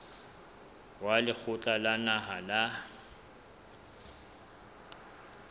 wa lekgotla la naha la